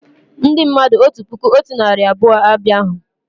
Ndị mmadụ otu puku otu narị abụọ abịa hú